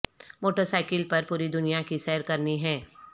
motor cycle پر پوری دنیا کی سیر کرنی ہے